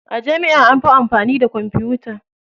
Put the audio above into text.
A jami'a anfi amfani da kwamfuta.